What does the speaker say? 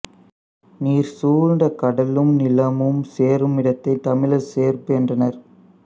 நீர் சூழ்ந்த கடலும் நிலமும் சேருமிடத்தைத் தமிழர் சேர்ப்பு என்றனர்